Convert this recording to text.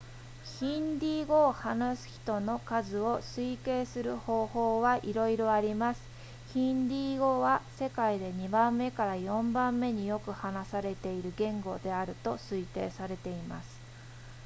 ヒンディー語を話す人の数を推計する方法はいろいろありますヒンディー語は世界で2番目から4番目によく話されている言語であると推定されています